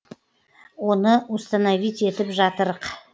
оны установиттетіп жатырық